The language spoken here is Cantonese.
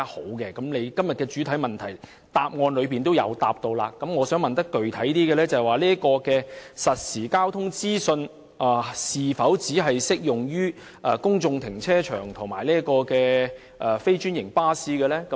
雖然局長在今天的主體答覆中亦有所提及，但我想具體詢問局長，實時交通資訊是否只適用於公眾停車場及非專營巴士呢？